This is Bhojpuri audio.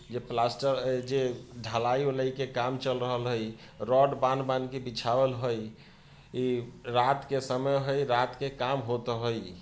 ये प्लास्टर हई जे ढलाई-उलाई के काम चल रहल है रॉड बांध-बांध के बिछावल हई इ रात के समय है रात के काम होता हई|